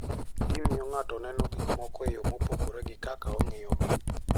Gimiyo ng'ato neno gik moko e yo mopogore gi kaka ong'iyogi.